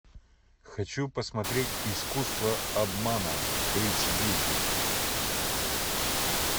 хочу посмотреть искусство обмана эйч ди